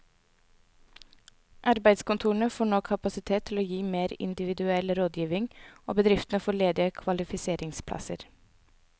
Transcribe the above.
Arbeidskontorene får nå kapasitet til å gi mer individuell rådgivning, og bedriftene får ledige kvalifiseringsplasser.